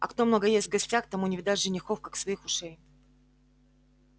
а кто много ест в гостях тому не видать женихов как своих ушей